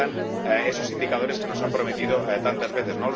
¿Dónde están esos indicadores que nos han prometido tantas veces?